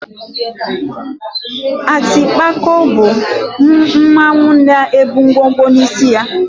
Atịpako bụ mmanwụ na-ebu ngwo ngwo n'isí.